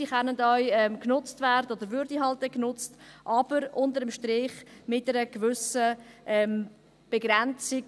Diese können auch genutzt werden oder würden dann eben genutzt, aber unter dem Strich mit einer gewissen Begrenzung.